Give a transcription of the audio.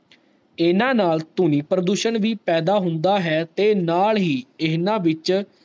ਇੰਨਾ ਨਾਲ ਧੁਨੀ ਪ੍ਰਦੂਸ਼ਣ ਵੀ ਪੈਦਾ ਹੁੰਦਾ ਹੈ ਤੇ ਨਾਲ ਹੀ ਇੰਨਾ ਵਿਚ